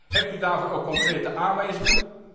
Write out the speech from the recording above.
Hebt u daarvoor ook concrete aanwijzingen?